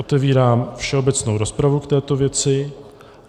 Otevírám všeobecnou rozpravu k této věci.